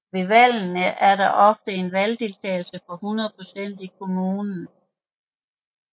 Ved valgene var der ofte en valgdeltagelse på 100 procent i kommunen